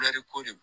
ko de don